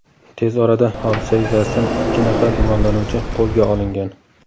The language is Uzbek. Tez orada hodisa yuzasidan ikki nafar gumonlanuvchi qo‘lga olingan.